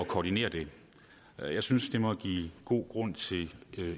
koordineret det jeg synes det må give god grund til